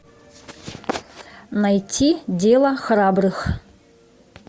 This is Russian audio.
найти дело храбрых